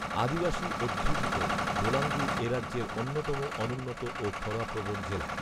আদিবাসী অধ্যুষিত বোলাঙ্গির এ রাজ্যের অন্যতম অনুন্নত ও খরাপ্রবণ জেলা